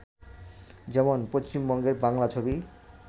যেমন, পশ্চিমবঙ্গের বাংলা ছবি